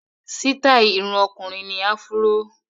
Sítáì irun ọkùnrin ni áfúró.